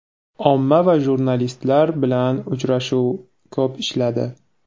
Omma va jurnalistlar bilan uchrashib, ko‘p ishladi.